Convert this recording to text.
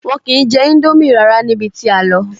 Wọn ki n jẹ ińdómì rárá níbi tí a lọ.